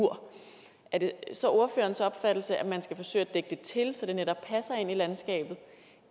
mur er det så ordførerens opfattelse at man skal forsøge at dække det til så det netop passer ind i landskabet